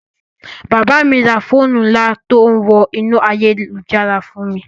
Bàbá mi ra fóònù ńlá tó ń wọ inú ayélujára fún mi